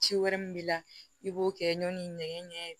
Ci wɛrɛ min b'i la i b'o kɛ ɲɔɔni ɲɛgɛn ɲɛ